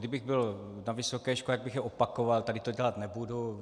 Kdybych byl na vysoké škole, tak bych je opakoval, tady to dělat nebudu.